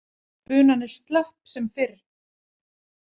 Bunan er slöpp sem fyrr.